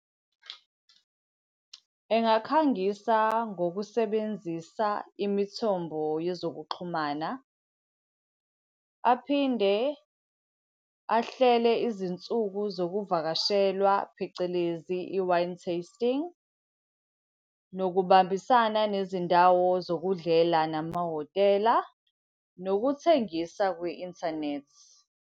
Engakhangisa ngokusebenzisa imithombo yezokuxhumana. Aphinde ahlele izinsuku zokuvakashelwa, phecelezi i-wine tasting. Nokubambisana nezindawo zokudlela namahhotela, nokuthengisa kwi-inthanethi.